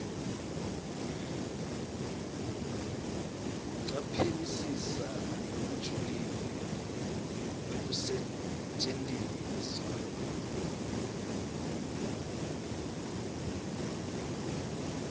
kucaphelisisa lokujulile kwekusetjentiswa